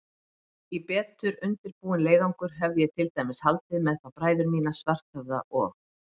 Í betur undirbúinn leiðangur hefði ég til dæmis haldið með þá bræður mína, Svarthöfða og